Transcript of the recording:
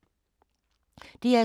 DR2